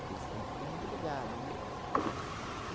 Porque eles são tudo muito ligado, né?